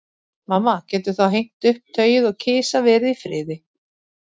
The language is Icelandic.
Mamma getur þá hengt upp tauið og kisa verið í friði.